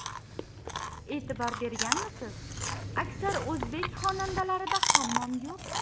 E’tibor berganmisiz: aksar o‘zbek xonadonlarida hammom yo‘q.